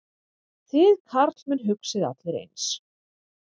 Þið karlmenn hugsið allir eins.